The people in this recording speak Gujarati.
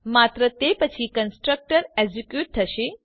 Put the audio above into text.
માત્ર તે પછીકન્સ્ટ્રક્ટર એક્ઝીક્યુટ થશે